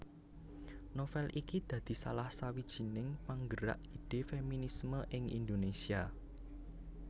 Novél iki dadi salah sawijining panggerak ide feminisme ing Indonesia